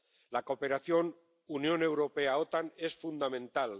La cooperación Unión Europea OTAN es fundamental.